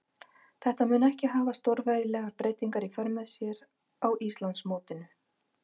Þetta mun ekki hafa stórvægilegar breytingar í för með sér á Íslandsmótinu.